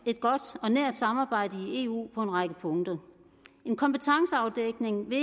et godt og nært samarbejde i eu på en række punkter en kompetenceafdækning vil